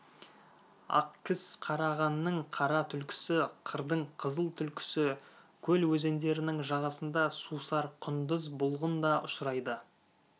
ақкіс қарағанның қара түлкісі қырдың қызыл түлкісі көл өзендерінің жағасында сусар құндыз бұлғын да ұшырайды